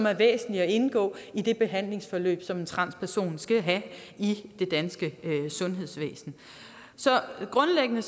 er væsentligt indgår i det behandlingsforløb som en transperson skal have i det danske sundhedsvæsen så grundlæggende